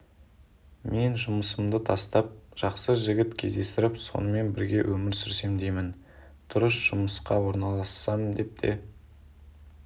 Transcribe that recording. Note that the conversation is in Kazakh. мен жұмысымды тастап жақсы жігіт кездестіріп сонымен бірге өмір сүрсем деймін дұрыс жұмысқа орналассам деп те